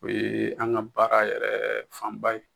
O ye an ka baara yɛrɛ fanba ye